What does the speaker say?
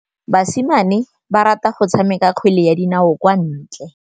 Basimane ba rata go tshameka kgwele ya dinaô kwa ntle.